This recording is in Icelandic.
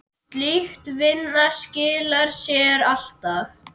Slík vinna skilar sér alltaf.